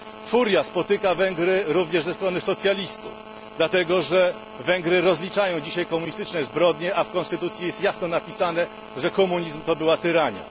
Furia spotyka Węgry również ze strony socjalistów, dlatego że Węgry rozliczają dzisiaj komunistyczne zbrodnie, a w konstytucji jest jasno napisane, że komunizm to była tyrania.